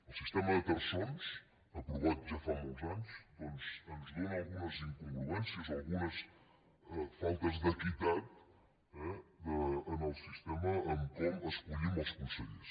el sistema de terçons aprovat ja fa molts anys doncs ens dóna algunes incongruències o algunes faltes d’equitat eh en el sistema en com escollim els consellers